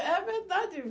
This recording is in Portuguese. É verdade.